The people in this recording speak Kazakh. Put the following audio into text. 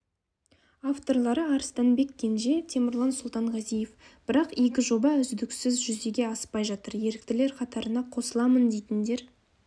авторлары арыстанбек кенже темірлан сұлтанғазиев бірақ игі жоба үздіксіз жүзеге аспай жатыр еріктілер қатарына қосыламын дейтіндер